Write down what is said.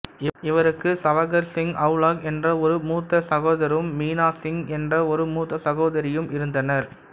இவருக்கு சவகர் சிங் அவுலாக் என்ற ஒரு மூத்த சகோதரும் மினா சிங் என்ற ஒரு மூத்த சகோதரியும் இருந்தனர்